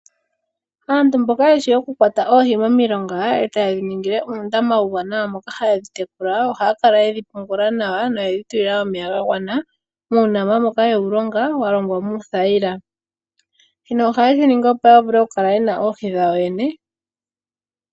Aantu mboka yeshi okukwata oohi momilonga etaye dhi ningile uundama uuwanawa moka haye dhi tekula ohaya kala yedhi pungula nawa noyedhi tulila omeya ga gwana muundama mboka yewu longa wa longwa muuthayila. Shino ohaye shiningi opo ya vule okukala yena oohi dhawo yene.